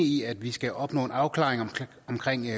i at vi skal opnå en afklaring